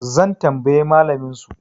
zan tambayi malaminsu?